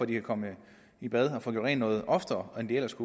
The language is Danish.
de kan komme i bad og få gjort rent noget oftere end de ellers